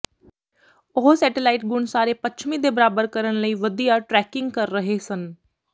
ਉਹ ਸੈਟੇਲਾਈਟ ਗੁਣ ਸਾਰੇ ਪੱਛਮੀ ਦੇ ਬਰਾਬਰ ਕਰਨ ਲਈ ਵਧੀਆ ਟਰੈਕਿੰਗ ਕਰ ਰਹੇ ਸਨ